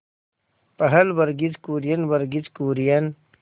पहल वर्गीज कुरियन वर्गीज कुरियन